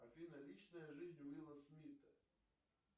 афина личная жизнь уилла смита